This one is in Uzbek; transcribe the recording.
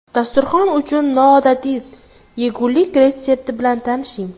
Dasturxon uchun noodatiy yegulik retsepti bilan tanishing.